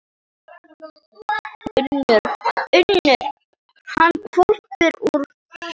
UNNUR: Hann hvolfir úr skónum.